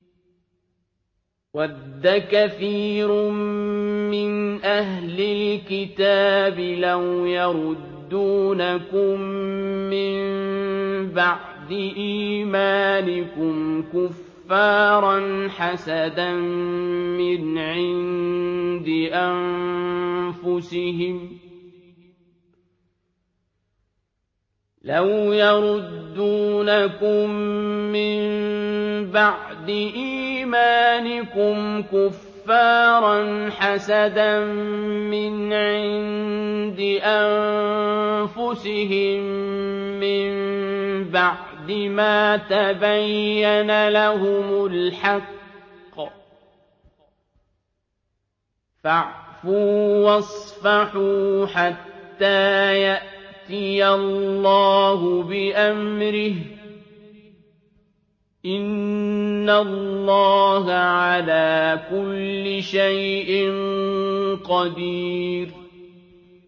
وَدَّ كَثِيرٌ مِّنْ أَهْلِ الْكِتَابِ لَوْ يَرُدُّونَكُم مِّن بَعْدِ إِيمَانِكُمْ كُفَّارًا حَسَدًا مِّنْ عِندِ أَنفُسِهِم مِّن بَعْدِ مَا تَبَيَّنَ لَهُمُ الْحَقُّ ۖ فَاعْفُوا وَاصْفَحُوا حَتَّىٰ يَأْتِيَ اللَّهُ بِأَمْرِهِ ۗ إِنَّ اللَّهَ عَلَىٰ كُلِّ شَيْءٍ قَدِيرٌ